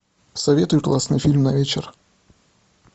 посоветуй классный фильм на вечер